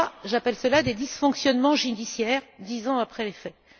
J'appelle cela des dysfonctionnements judiciaires dix ans après les faits.